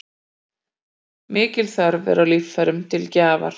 Mikil þörf er á líffærum til gjafar.